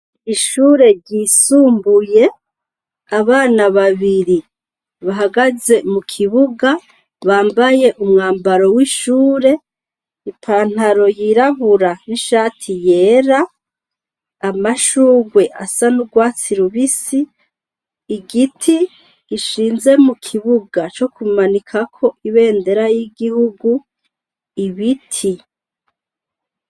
Ishure ryisumbuye abana babiri bahagaze mu kibuga bambaye umwambaro w'ishure ipantaro yirabura n'ishati yera amashurwe asa n'urwatsi lubisi igiti gishinze mu kibuga co kumanikako ibendera y'igihugu ibiti.